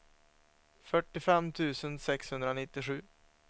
fyrtiofem tusen sexhundranittiosju